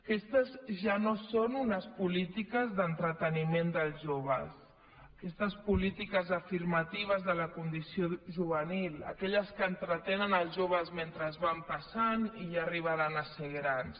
aquestes ja no són unes polítiques d’entreteniment dels joves aquestes polítiques afirmatives de la condició juvenil aquelles que entretenen els joves mentre van passant i ja arribaran a ser grans